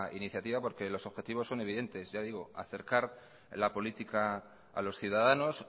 iniciativa porque los objetivos son evidentes ya digo acercar la política a los ciudadanos